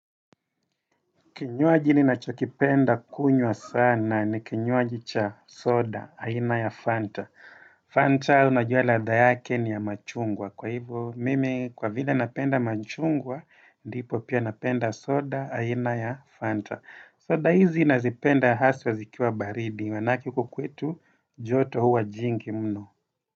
Kinywaji ninachokipenda kunywa sana ni kinywaji cha soda, aina ya Fanta. Fanta unajua ladha yake ni ya machungwa. Kwa hivo mimi kwa vile napenda machungwa, ndipo pia napenda soda, aina ya Fanta. Soda hizi nazipenda haswa zikiwa baridi, manake huko kwetu joto huwa jingi mno.